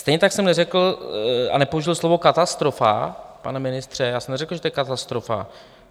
Stejně tak jsem neřekl a nepoužil slovo katastrofa - pane ministře, já jsem neřekl, že to je katastrofa.